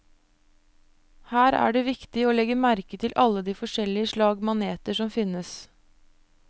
Her er det viktig å legge merke til alle de forskjellige slag maneter som finnes.